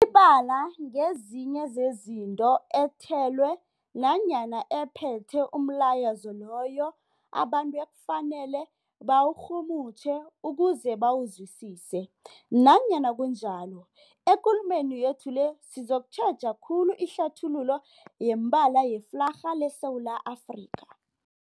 Imibala ngezinye zezinto ethelwe nanyana ephethe umlayezo loyo abantu ekufanele bawurhumutjhe ukuze bawuzwisise. Nanyana kunjalo, ekulumeni yethu le sizokutjheja khulu ihlathululo yemibala yeflarha yeSewula Afrika.